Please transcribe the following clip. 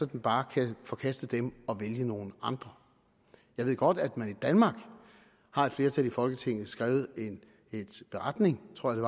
bare kan forkaste dem og vælge nogle andre jeg ved godt at man i danmark har et flertal i folketinget skrevet en beretning tror jeg